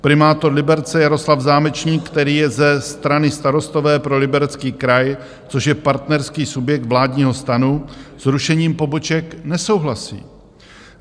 Primátor Liberce Jaroslav Zámečník, který je ze strany Starostové pro Liberecký kraj, což je partnerský subjekt vládního STANu, s rušením poboček nesouhlasí.